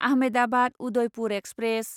Ahmedabad Udaipur express